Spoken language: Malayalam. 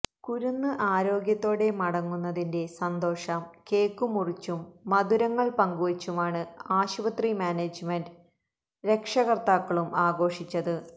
കുരുന്ന് ആരോഗ്യത്തോടെ മടങ്ങുന്നതിന്റെ സന്തോഷം കേക്ക് മുറിച്ചും മധുരങ്ങള് പങ്കുവച്ചുമാണ് ആശുപത്രി മാനേജ്മെന്റും രക്ഷകര്ത്താക്കളും ആഘോഷിച്ചത്